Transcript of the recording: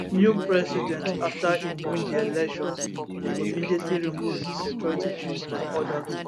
new president afta im win di elections go immediately remove di security chiefs and odas